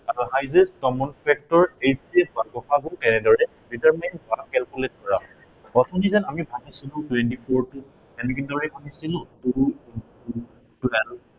highest common factor HCF বা গ সা গু কেনেদৰে determine বা calculate কৰা হয়। প্ৰথমে যে আমি ভাঙিছিলো twenty four টো। আমি কেনেদৰে ভাঙিছিলো two into twelve